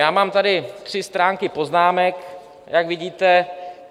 Já mám tady tři stránky poznámek, jak vidíte.